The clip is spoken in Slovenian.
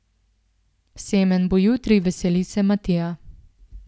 Semenj bo jutri, veseli se Matija!